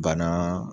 Banaa